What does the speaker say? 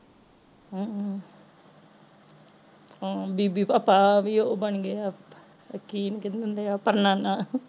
ਹਮ ਹਮ ਬੇਬੀ ਦਾ ਪਾ ਵੀ ਉਹ ਬਣ ਗਏ ਅਪ ਉਹ ਕਿ ਓਹਨੂੰ ਕਹਿੰਦੇ ਹੁੰਦੇ ਆ ਪੜ ਨਾਨਾ